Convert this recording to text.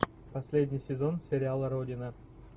последний сезон сериала родина